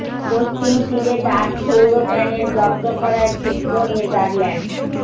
পশ্চিম তীরে ডাচ সৌর প্যানেল জব্দ করায় ক্ষুব্ধ নেদারল্যান্ডস